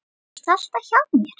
Þú ert alltaf hjá mér.